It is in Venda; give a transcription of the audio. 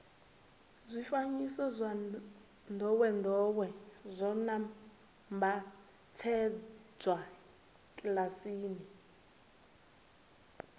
zwifanyiso zwa ndowendowe zwo nambatsedzwa kilasini